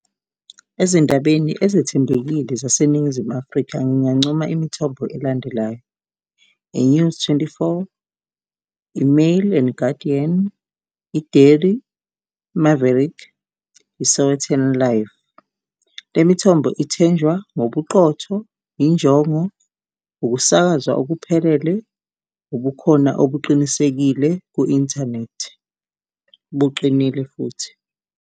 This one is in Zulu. Ezindabeni ezethembekile zaseNingizimu Afrika, ngingancoma imithombo elandelayo. I-News Twenty-four, i-Mail and Guardian i-Daily Maverick, i-Sowetan Live le mithombo ithenjwa ngobuqotho, injongo, ukusakazwa okuphelele, ubukhona obuqinisekile ku-inthanethi buqinile futhi.